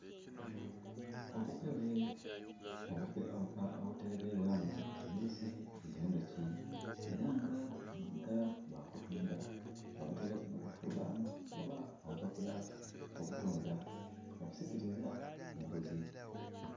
Obukebe obuterekeibwamu omubisi gwe nduki era nga guboneka gwakutunda. Bbabutaireku ni kifuulanho oba obupapula obutunda obusikiriza omuguzi